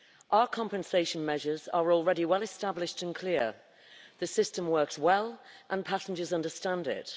Our compensation measures are already well established and clear, the system works well and passengers understand it.